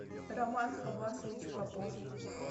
роман хабасович попов